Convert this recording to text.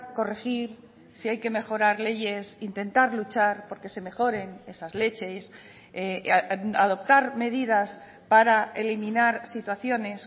corregir si hay que mejorar leyes intentar luchar porque se mejoren esas leyes adoptar medidas para eliminar situaciones